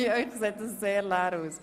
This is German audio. Bei Ihnen sieht das sehr leer aus.